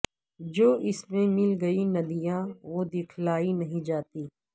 جو اسمیں مل گئی ندیاں وہ دکھلائی نہیں جاتی